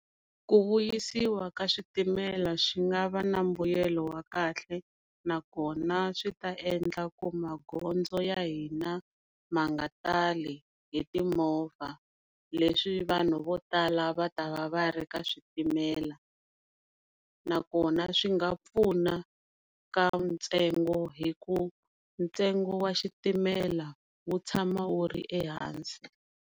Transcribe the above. Ku vuyisiwa ka switimela swi nga va na mbuyelo wa kahle nakona swi ta endla ku magondzo ya hina ma nga tali hi timovha, leswi vanhu vo tala va ta va ri ka switimela nakona swi nga pfuna ka ntsengo hi ku ntsengo wa xitimela wu tshama wuri ehansi.